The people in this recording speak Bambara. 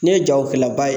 Ne ye jago kɛla ba ye